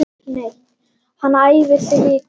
Hann fær hana ekki neitt!